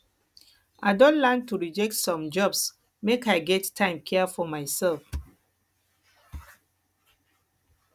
i don learn to reject some jobs make i get time care for mysef